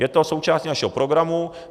Je to součást našeho programu.